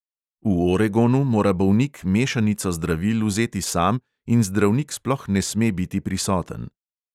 V oregonu mora bolnik mešanico zdravil vzeti sam in zdravnik sploh ne sme biti prisoten.